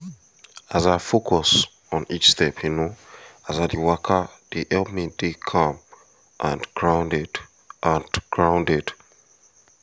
as i focus on each step you know as i dey waka dey help me dey calm and grounded and grounded